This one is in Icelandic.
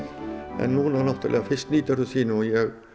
núna náttúrulega fyrst nýtur það sín því ég